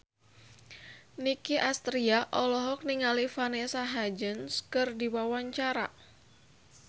Nicky Astria olohok ningali Vanessa Hudgens keur diwawancara